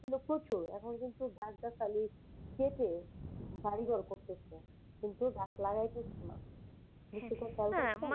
ছিলো প্রচুর এখন কিন্তু গাছ গাছালি কেটে বাড়িঘর করতেছে, কিন্তু গাছ লাগাইতেছে না।